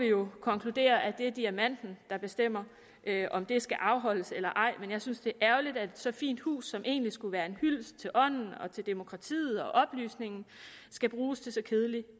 jo konkludere at det er diamanten der bestemmer om det skal afholdes der eller ej men jeg synes det er ærgerligt at så fint et hus som egentlig skulle være en hyldest til ånden demokratiet og oplysningen skal bruges til så kedelig